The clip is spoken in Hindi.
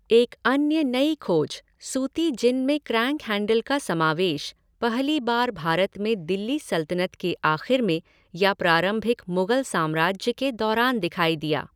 एक अन्य नई खोज, सूती जिन में क्रैंक हैंडल का समावेश, पहली बार भारत में दिल्ली सल्तनत के आख़िर में या प्रारंभिक मुग़ल साम्राज्य के दौरान दिखाई दिया।